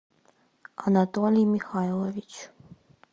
анатолий михайлович